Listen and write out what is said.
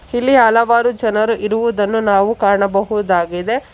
ಇಲಿ ಹಲವಾರು ಜನರು ಇರುವುದನ್ನು ನಾವು ಕಾಣಬಹುದಾಗಿದೆ.